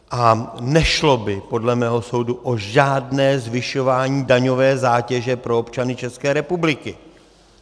A nešlo by podle mého soudu o žádné zvyšování daňové zátěže pro občany České republiky.